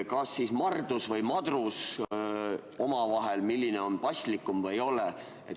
Kas siis Mardus või Madrus, milline on paslikum?